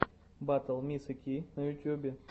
батл мисы ки на ютубе